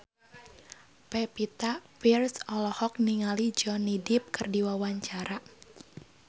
Pevita Pearce olohok ningali Johnny Depp keur diwawancara